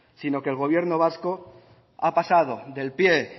sino que el gobierno vasco ha pasado del pie